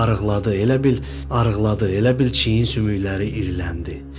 Arıqladı, elə bil arıqladı, elə bil çiyin sümükləri iriləndi.